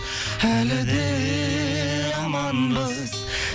әлі де аманбыз